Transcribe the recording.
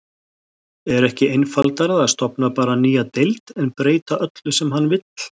Er ekki einfaldara að stofna bara nýja deild en breyta öllu sem hann vill?